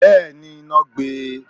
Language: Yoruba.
Bẹ́ẹ̀ni, iná gbé e.